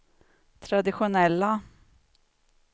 traditionella